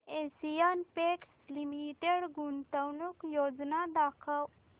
Asian Paints Limited गुंतवणूक योजना दाखव